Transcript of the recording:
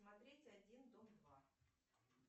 смотреть один дом два